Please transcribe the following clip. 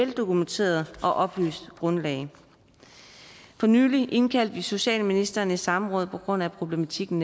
dokumenteret og oplyst grundlag for nylig indkaldte vi socialministeren i samråd netop på grund af problematikken